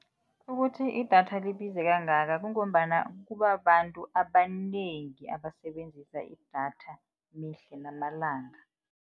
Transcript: Ukuthi idatha libize kangaka kungombana kubabantu abanengi abasebenzisa idatha mihla namalanga.